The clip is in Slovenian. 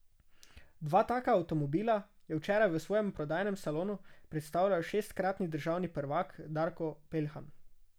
Dva taka avtomobila je včeraj v svojem prodajnem salonu predstavljal šestkratni državni prvak Darko Peljhan.